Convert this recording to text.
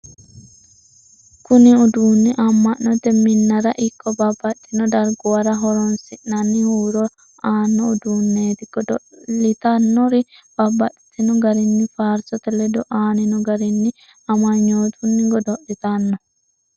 kuni udunni amma'note minnara ikko babbaxxinno darguwara hironsi'nanni huuro aanno uddunneeti. goodi'litannori babbaxxino garinni faarisote ledo aanino garinni ammanyootunni godo'litanno.